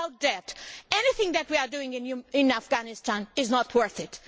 Without that, anything that we are doing in Afghanistan is not worth it.